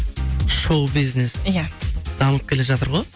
шоу бизнес иә дамып келе жатыр ғой